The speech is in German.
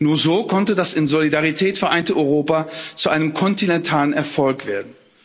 Nur so konnte das in Solidarität vereinte Europa zu einem kontinentalen Erfolg werden.